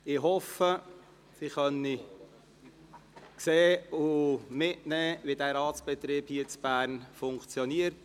Ich hoffe, Sie werden sehen und mitnehmen können, wie der Ratsbetrieb hier in Bern funktioniert.